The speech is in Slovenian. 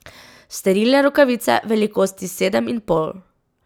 Sterilne rokavice velikosti sedem in pol.